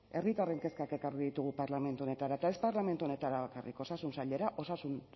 herritarren kezkak ekarri ditugu parlamentu honetara eta ez parlamentu honetara bakarrik osasun sailera osasun